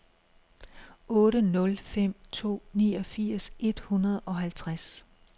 otte nul fem to niogfirs et hundrede og halvtreds